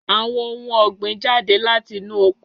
Àwọn ohun ọ̀gbìn jáde láti inú oko.